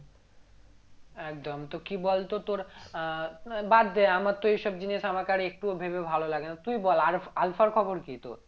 একদম তো কি বলতো তোর আহ বাদ দে আমার তো এইসব জিনিস আমাকে আর একটুও ভেবে ভালো লাগেনা তুই বল আলআলফার খবর কি তোর?